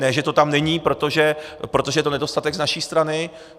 Ne že to tam není, protože je to nedostatek z naší strany.